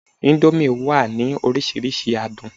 indomie wa ni orísirísi adun